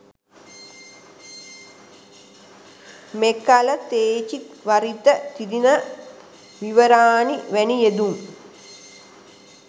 මෙකල තෙචීවරිත, තීන විවරානි වැනි යෙදුම්